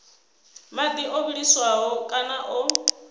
madi o vhiliswaho kana o